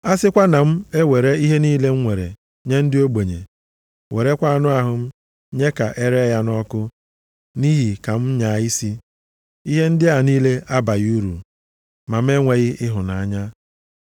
A sịkwa na m ewere ihe niile m nwere nye ndị ogbenye, werekwa anụ ahụ m nye ka ere ya ọkụ nʼihi ka m nyaa isi, ihe ndị a niile abaghị uru, ma m enweghị ịhụnanya.